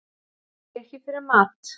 Eiga ekki fyrir mat